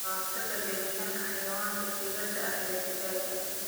Kahortagga gelitaanka xayawaanka dibadda ah ee digaagga.